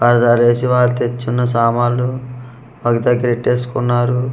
ఆధార్ ఏసీవార్ తెచున్న సామాన్లు ఒగ దగ్గర ఎట్టేసుకున్నారు.